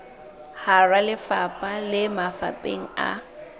hara lefapha le mafapheng a